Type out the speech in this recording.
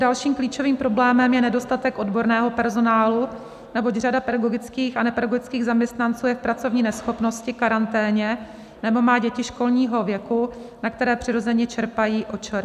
Dalším klíčovým problémem je nedostatek odborného personálu, neboť řada pedagogických a nepedagogických zaměstnanců je v pracovní neschopnosti, karanténě nebo má děti školního věku, na které přirozeně čerpají OČR.